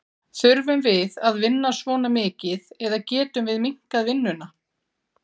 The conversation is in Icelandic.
Þurfum við að vinna svona mikið eða getum við minnkað vinnuna?